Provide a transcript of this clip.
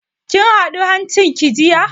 Kin huda hancin ki jiya?